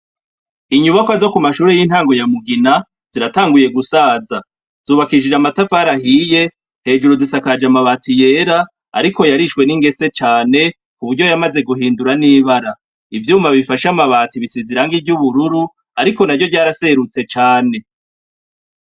Inyubakwa zo ku mashure y'intango ya mugina, ziratanguye gusaza; zubakishije amatafari ahiye, hejuru zisakaje amabati yera ariko yarishwe n'ingese cane, ku buryo yamaze guhindura n'ibara. Ivyuma bifashe amabati bisize irangi ry'ubururu, ariko naryo ryaraserutse cane.